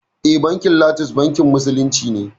Eh bankin lotus bankin musulunci ne